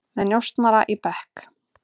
Með njósnara í bekk